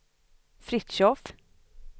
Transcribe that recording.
Fritiof